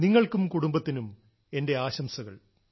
നിങ്ങൾക്കും കുടുബത്തിനും എന്റെ ആശംസകൾ